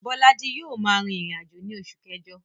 Bólájí yio ma rìn ìrìnàjò ni osù kẹ́jo